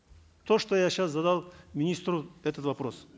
то что я сейчас задал министру этот вопрос